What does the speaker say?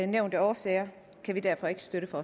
nævnte årsager kan vi derfor ikke støtte